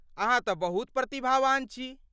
अहाँ तँ बहुत प्रतिभावान छी।